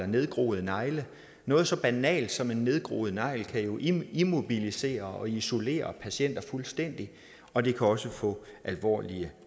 nedgroede negle noget så banalt som en nedgroet negl kan jo immobilisere og isolere patienter fuldstændig og det kan også få alvorlige